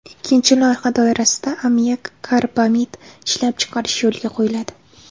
Ikkinchi loyiha doirasida ammiak karbamid ishlab chiqarish yo‘lga qo‘yiladi.